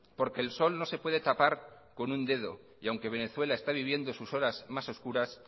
porque el sol no se puede tapar con un dedo y aunque venezuela está viviendo sus horas más oscuras